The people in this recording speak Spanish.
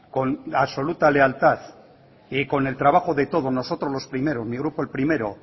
con absoluta lealtad y con el trabajo de todos nosotros los primeros mi grupo el primero